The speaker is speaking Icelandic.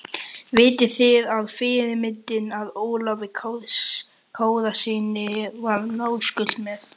Vitið þið að fyrirmyndin að Ólafi Kárasyni var náskyld mér?